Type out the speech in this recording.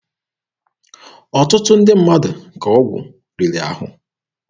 Ọtụtụ ndị mmadụ ka ọgwụ riri ahụ.